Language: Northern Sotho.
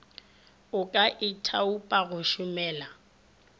o ka ithaopa go šomela